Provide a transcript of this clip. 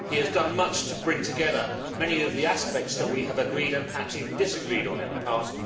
He has done much to bring together many of the aspects that we have agreed and perhaps even disagreed on in the past.